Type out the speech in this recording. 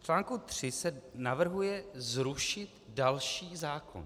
V článku 3 se navrhuje zrušit další zákon.